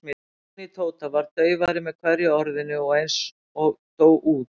Röddin í Tóta varð daufari með hverju orðinu og eins og dó út.